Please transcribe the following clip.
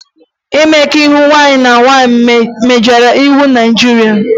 Mmekọahụ nwaanyị na nwaanyị megidere iwu Naịjirịa